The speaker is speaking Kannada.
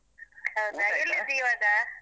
ಹೌದಾ? ಇವಾಗ?